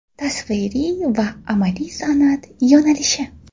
Tasviriy va amaliy san’at yo‘nalishi.